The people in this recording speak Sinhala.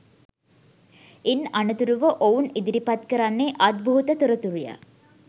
ඉන් අනතුරුව ඔවුන් ඉදිරිපත් කරන්නේ අද්භූත තොරතුරුය